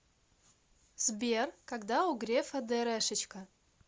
сбер когда у грефа дэрэшечка